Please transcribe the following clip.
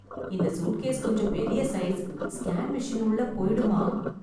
இந்த சூட்கேஸ் கொஞ்சம் பெரிய சைஸ். ஸ்கேன் மெஷின் உள்ளே போயிடுமா?